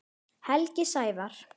Helgi Sævar.